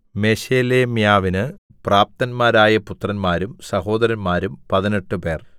മെശേലെമ്യാവിന് പ്രാപ്തന്മാരായ പുത്രന്മാരും സഹോദരന്മാരും പതിനെട്ടുപേർ